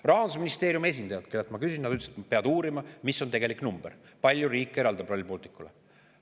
Rahandusministeeriumi esindaja, kellelt ma selle kohta küsisin, ütles, et nad peavad uurima, mis on tegelik number, kui palju riik Rail Balticule eraldab.